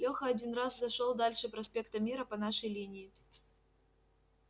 лёха один раз зашёл дальше проспекта мира по нашей линии